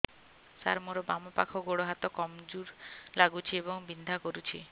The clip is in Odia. ସାର ମୋର ବାମ ପାଖ ଗୋଡ ହାତ କମଜୁର ଲାଗୁଛି ଏବଂ ବିନ୍ଧା କରୁଛି